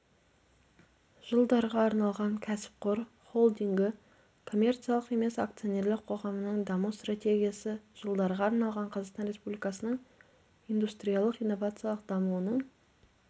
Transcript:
жылдарға арналған кәсіпқор холдингі коммерциялық емес акционерлік қоғамының даму стратегиясы жылдарға арналған қазақстан республикасының индустриялық-инновациялық дамуының